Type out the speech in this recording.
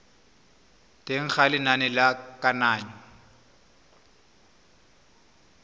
teng ga lenane la kananyo